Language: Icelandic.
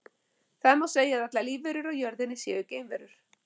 Þannig má segja að allar lífverur á jörðinni séu geimverur.